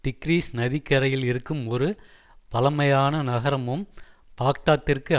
degrees நதிக்கரையில் இருக்கும் ஒரு பழைமையான நகரமும் பாக்தாத்திற்கு